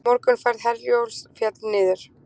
Morgunferð Herjólfs féll niður